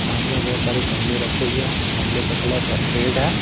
सामने बहुत सारे गमले रखे हुए हैं गमले का कलर रेड है।